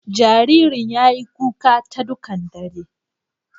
Jaririn ya yi kuka ta dukan daran.